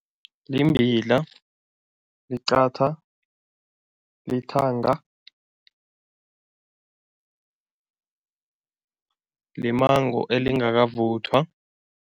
Limbila, liqatha, lithanga limango elingakavuthwa.